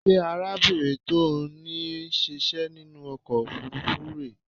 Ṣé arábìnrin tó ní ó ń ṣíṣẹ́ nínú ọkọ̀ òfuurufú rè é?